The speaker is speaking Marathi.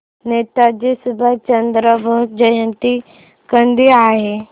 नेताजी सुभाषचंद्र बोस जयंती कधी आहे